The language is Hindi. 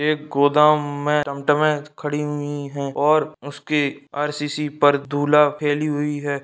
एक गोदाम में टॉम टॉमे खड़ी हुए हैं और उस के आर.सी.सी. पर फैली हुए है ।